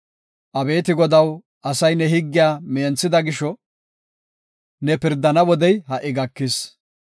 Abeeti Godaw, asay ne higgiya menthida gisho, ne pirdana wodey ha77i gakis.